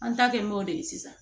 An ta kɛ m'o de ye sisan